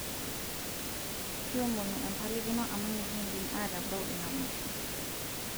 kiomono empalikino amu mikiindim aatabau ina masho